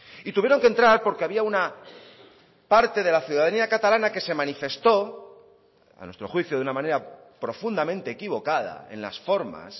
y tuvieron que entrar porque había una parte de la ciudadanía catalana que se manifestó a nuestro juicio de una manera profundamente equivocada en las formas